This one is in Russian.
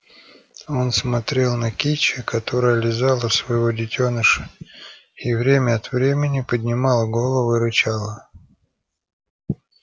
он смотрел на кичи которая лизала своего детёныша и время от времени поднимала голову и рычала